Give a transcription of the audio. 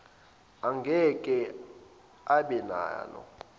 angeke abe nalo